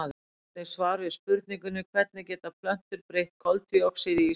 Sjá einnig svar við spurningunni Hvernig geta plöntur breytt koltvíoxíði í súrefni?